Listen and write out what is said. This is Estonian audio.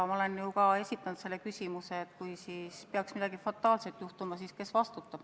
Ja ma olen ju ka esitanud selle küsimuse, et kui peaks midagi fataalset juhtuma, siis kes vastutab.